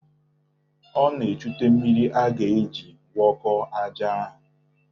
Ọ na-echute mmiri a ga-eji gwọkọọ aja ahụ.